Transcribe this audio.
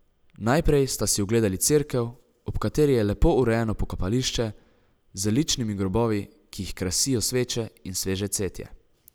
Najprej sta si ogledali cerkev, ob kateri je lepo urejeno pokopališče, z ličnimi grobovi, ki jih krasijo sveče in sveže cvetje.